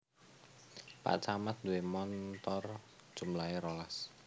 Pak camat nduwe montor jumlahe rolas